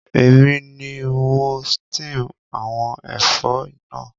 Èmi ni mo steam àwon ẹ̀fọ́ náà